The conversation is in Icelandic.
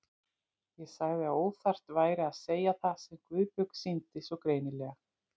Ég sagði að óþarft væri að segja það sem Guðbjörg sýndi svo greinilega.